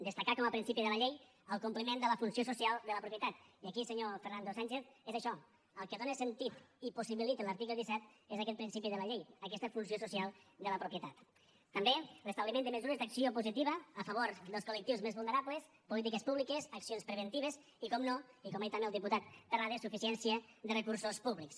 destacar com a principi de la llei el compliment de la funció social de la propietat i aquí senyor fernando sánchez és això el que dóna sentit i possibilita l’article disset és aquest principi de la llei aquesta funció social de la propietat també l’establiment de mesures d’acció positiva a favor dels col·lectius més vulnerables polítiques públiques accions preventives i per descomptat i com ha dit també el diputat terrades suficiència de recursos públics